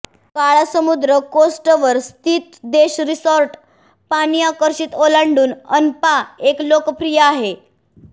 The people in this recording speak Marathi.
काळा समुद्र कोस्ट वर स्थित देश रिसॉर्ट पाणी आकर्षित ओलांडून अणपा एक लोकप्रिय आहे